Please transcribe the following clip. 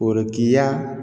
Korotigɛ